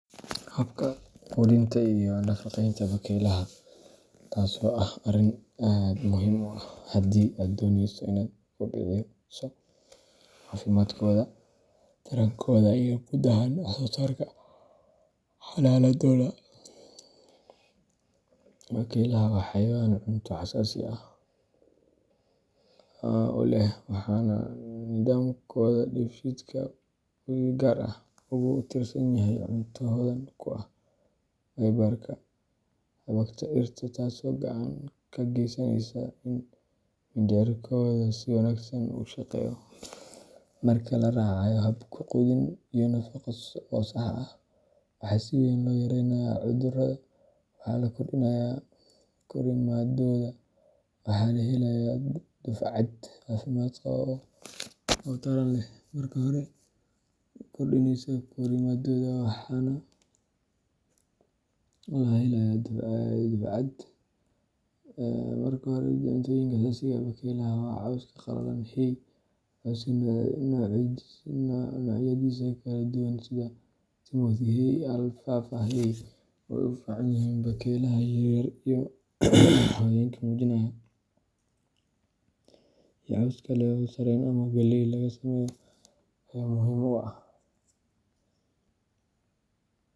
Habka quudinta iyo nafaqeynta bakeylaha, taasoo ah arrin aad muhiim u ah haddii aad dooneyso inaad kobciso caafimaadkooda, tarankooda, iyo guud ahaan wax-soo-saarka xanaanadooda. Bakeylaha waa xayawaan cunto xasaasi ah u leh, waxaana nidaamkooda dheefshiidka uu si gaar ah ugu tiirsan yahay cunto hodan ku ah fiber-ka xabagta dhirta, taasoo gacan ka geysaneysa in mindhicirkooda si wanaagsan u shaqeeyo. Marka la raacayo hab quudin iyo nafaqo oo sax ah, waxaa si weyn loo yareynayaa cudurada, waxaa la kordhinayaa korriimadooda, waxana la helayaa dufcad caafimaad qaba oo taran leh. Marka hore, cuntooyinka asaasiga ah ee bakeylaha waa cawska qalalan hay. Cawska noocyadiisa kala duwan sida timothy hay, alfalfa hay oo ay u fiican yihiin bakeylaha yar yar iyo hooyooyinka nuujinaya, iyo caws kale oo sarreen ama galley laga sameeyo ayaa muhiim u ah.